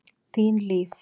Þín Líf.